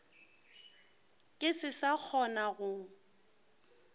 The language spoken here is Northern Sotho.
ke se sa kgona go